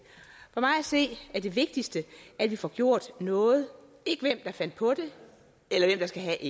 for mig at se er det vigtigste at vi får gjort noget ikke hvem der fandt på det eller hvem der skal